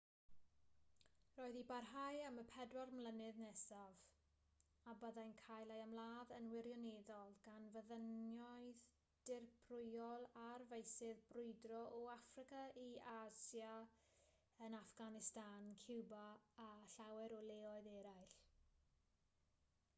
roedd i barhau am y 40 mlynedd nesaf a byddai'n cael ei ymladd yn wirioneddol gan fyddinoedd dirprwyol ar feysydd brwydro o affrica i asia yn affganistan ciwba a llawer o leoedd eraill